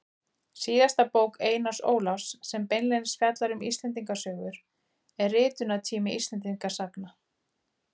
Síðasta bók Einars Ólafs sem beinlínis fjallar um Íslendingasögur er Ritunartími Íslendingasagna.